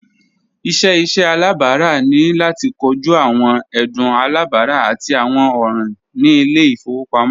Iṣẹ iṣẹ alabara ni lati koju awọn ẹdun alabara ati awọn ọran ni ile-ifowopamọ